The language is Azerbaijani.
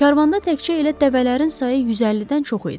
Karvanda təkcə elə dəvələrin sayı 150-dən çox idi.